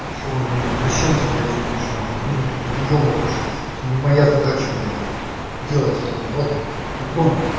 что во мне извращенца блядь видишь на хуй буду тут выёбываться это не моя зада блядь делать этого бота это гон